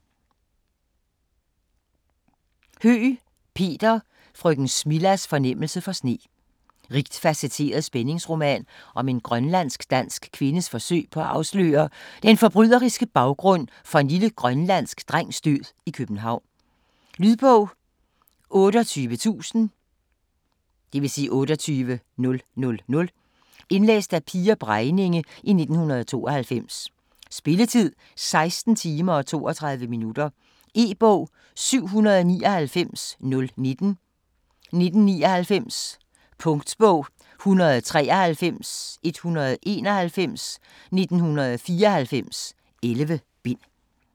Høeg, Peter: Frøken Smillas fornemmelse for sne Rigt facetteret spændingsroman om en grønlandsk-dansk kvindes forsøg på at afsløre den forbryderiske baggrund for en lille grønlandsk drengs død i København. Lydbog 28000 Indlæst af Pia Bregninge, 1992. Spilletid: 16 timer, 32 minutter. E-bog 799019 1999. Punktbog 193191 1994. 11 bind.